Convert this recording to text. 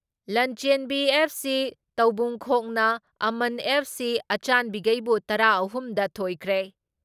ꯂꯟꯆꯦꯟꯕꯤ FC ꯇꯥꯎꯕꯨꯡꯈꯣꯛꯅ ꯑꯃꯟ FC ꯑꯆꯥꯟꯕꯤꯒꯩꯕꯨ ꯇꯔꯥ ꯑꯍꯨꯝ ꯗ ꯊꯣꯏꯈ꯭ꯔꯦ ꯫